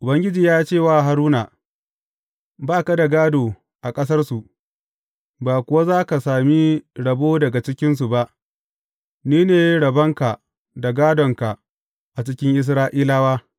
Ubangiji ya ce wa Haruna, Ba ka da gādo a ƙasarsu, ba kuwa za ka sami rabo daga cikinsu ba; ni ne rabonka da gādonka a cikin Isra’ilawa.